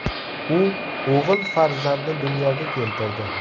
U o‘g‘il farzandni dunyoga keltirdi .